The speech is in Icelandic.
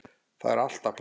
Þar var alltaf pláss.